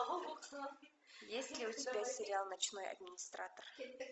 есть ли у тебя сериал ночной администратор